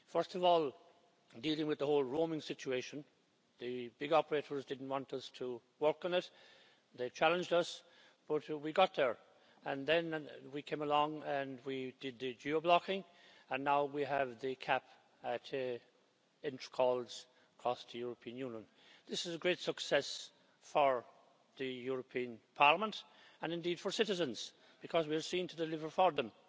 First of all, dealing with the whole roaming situation the big operators didn't want us to work on it, they challenged us, but we got there and then we came along and we did geo blocking and now we have the cap to calls' costs to the European Union. This is a great success for the European Parliament, and indeed for citizens, because we are seen to deliver for them.